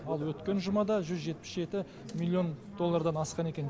ал өткен жұмада жүз жетпіс жеті миллион доллардан асқан екен